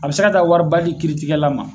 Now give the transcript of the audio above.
A bɛ se ka taa wariba di kiiritigɛla ma.